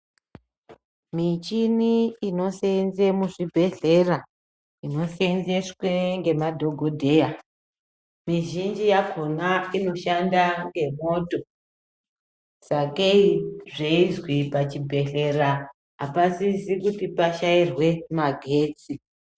Michini inoseenze muzvibhedhlera, inoseenzeswe ngemadhogodheya, mizhinji yakhona inoshanda ngemwoto, sakei zveizwi pachibhedhlera, apasisi kuti pashairwe magetsi.